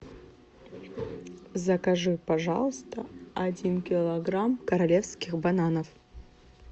закажи пожалуйста один килограмм королевских бананов